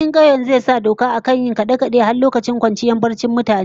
Sarkin kauyen zai sa dokar akan yin kade-kade har lokacin kwanciyar barcin mutane